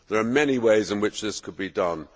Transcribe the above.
There are many ways in which this could be done.